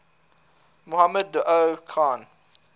mohammed daoud khan